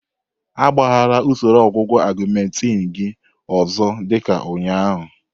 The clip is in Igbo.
Agbagharala usoro ọgwụgwọ Augmentin gị ọzọ dị ka ụnyaahụ.